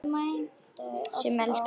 Sem elskaði allt.